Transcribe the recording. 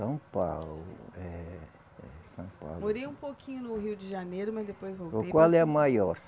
São Paulo, eh, eh, São Paulo. Morei um pouquinho no Rio de Janeiro, mas depois voltei. Qual é a maior?